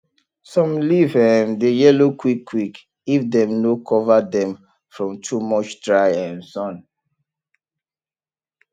some leaf um dey yellow quick quick if dem no cover dem from too much dry um sun